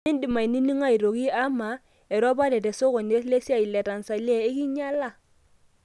Mindim aniningo aitoki ama, eropare tesokoni lesiai te Tanzania ikinyala?